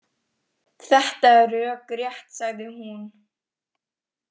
Þetta er rökrétt, sagði hún.